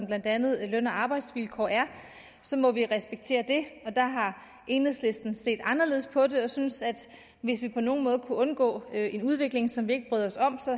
blandt andet løn og arbejdsvilkår er så må vi respektere det der har enhedslisten set anderledes på det og synes at hvis man på nogen måde kunne undgå en udvikling som man ikke bryder os om